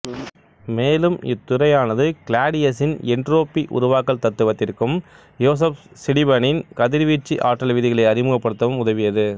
மேலும் இத்துறையானது கிளாடியசின் என்டிரோப்பி உருவாக்கல் தத்துவத்திற்கும் யோசப் சிடீபனின் கதிர்வீச்சு ஆற்றல் விதிகளை அறிமுகப்படுத்தவும் உதவியது